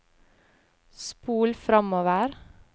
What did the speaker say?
spol framover